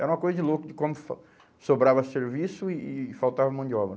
Era uma coisa de louco de como sobrava serviço e e faltava mão de obra.